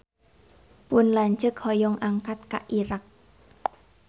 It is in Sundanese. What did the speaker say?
Pun lanceuk hoyong angkat ka Irak